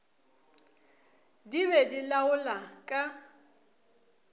di be di laola ka